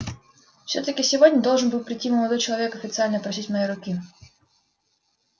всё-таки сегодня должен был прийти молодой человек официально просить моей руки